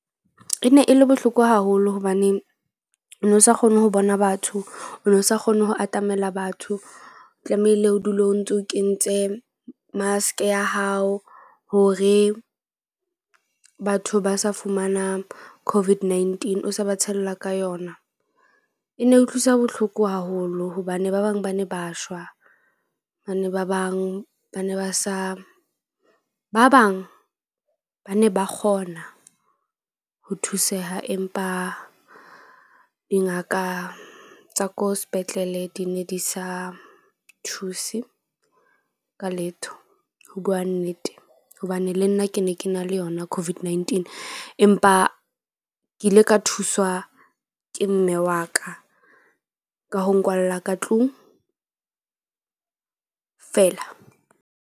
E ne e le bohloko haholo hobaneng o no sa kgone ho bona batho. O no sa kgone ho atamela batho. Tlamehile o dule o ntso o kentse mask-e ya hao hore batho ba sa fumana COVID-19 o sa ba tshella ka yona. E ne utlwisa bohloko haholo hobane ba bang ba ne ba shwa. Ba ne ba bang ba ne ba sa ba bang ba ne ba kgona ho thuseha, empa dingaka tsa ko sepetlele di ne di sa thuse ka letho. Ho bua nnete, hobane le nna ke ne ke na le yona COVID-19, empa ke ile ka thuswa ke mme wa ka ka ho nkwalla ka tlung fela.